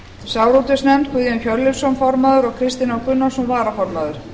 sjávarútvegsnefnd guðjón hjörleifsson formaður og kristinn h gunnarsson varaformaður